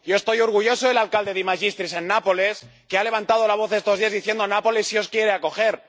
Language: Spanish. Yo estoy orgulloso del alcalde De Magistris, en Nápoles, que ha levantado la voz estos días, diciendo Nápoles sí os quiere acoger.